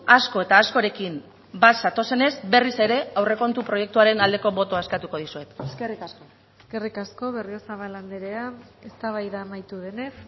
asko eta askorekin bat zatozenez berriz ere aurrekontu proiektuaren aldeko botoa eskatuko dizuet eskerrik asko eskerrik asko berriozabal andrea eztabaida amaitu denez